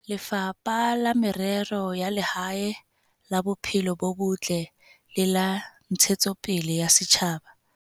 Lefapha la Merero ya Lehae, la Bophelo bo Botle le la Ntshetsopele ya Setjhaba.